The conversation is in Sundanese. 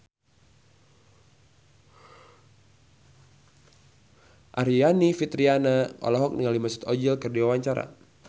Aryani Fitriana olohok ningali Mesut Ozil keur diwawancara